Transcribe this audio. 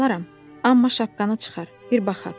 Alaram, amma şapkanı çıxar, bir baxaq,